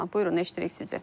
Buyurun, eşidirik sizi.